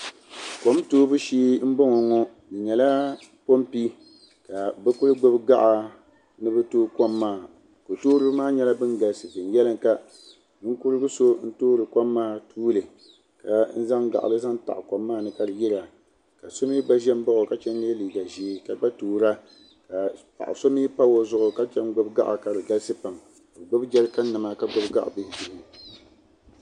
Kom toobu shee m boŋɔ ŋɔ di nyɛla pompi ka bɛ kuli gbibi gaɣa ni bɛ toogi kom maa kotooriba maa nyɛla ban galisi venyelinka Ninkurigu so n toori kom maa tuuli ka zaŋ gaɣali zaŋ taɣi kom maa ni ka di yira ka so mee gba ʒi m baɣi o ka chen ye liiga ʒee ka gba toora ka paɣa so mee pa o zuɣu ka chen gbibi gaɣa ka di galisi pam ka bɛ gbibi jerikan nima ka gbibi gaɣa bihi bihi.